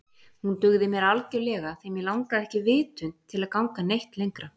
Hún dugði mér algjörlega því mig langaði ekki vitund til að ganga neitt lengra.